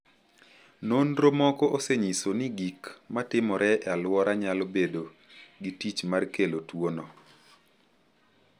Nonro moko osenyiso ni gik ma timore e alwora nyalo bedo gi tich mar kelo tuwono.